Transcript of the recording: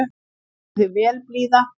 Þú stendur þig vel, Blíða!